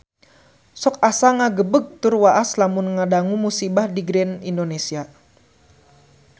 Sok asa ngagebeg tur waas lamun ngadangu musibah di Grand Indonesia